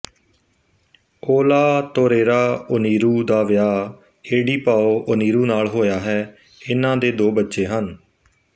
Olatorera Oniru ਦਾ ਵਿਆਹ Edipao Oniru ਨਾਲ ਹੋਇਆ ਹੈ ਇਹਨਾਂ ਦੇ ਦੋ ਬੱਚੇ ਹਨ